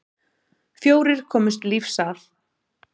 Fjórir komust lífs af.